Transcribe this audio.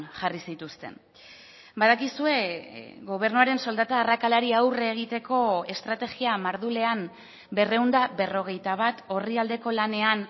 jarri zituzten badakizue gobernuaren soldata arrakalari aurre egiteko estrategia mardulean berrehun eta berrogeita bat orrialdeko lanean